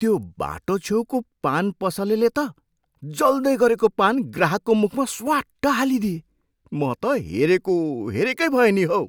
त्यो बाटो छेउको पान पसलेले त जल्दैगरेको पान ग्राहकको मुखमा स्वाट्ट हालिदिए। म त हेरेको हेरेकै भएँ नि हौ।